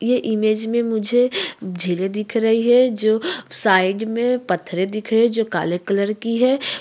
ये इमेज में मुझे झीलें दिख रहीं हैं जो साइड में पथेरे दिख रहें हैं जो काले कलर की है।